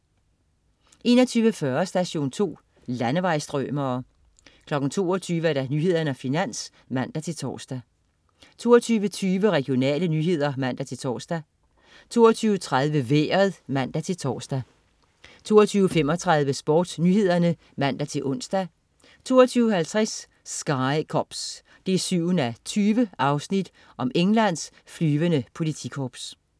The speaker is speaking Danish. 21.40 Station 2. Landevejsstrømere 22.00 Nyhederne og Finans (man-tors) 22.20 Regionale nyheder (man-tors) 22.30 Vejret (man-tors) 22.35 SportsNyhederne (man-ons) 22.50 Sky Cops 7:20. Englands flyvende politikorps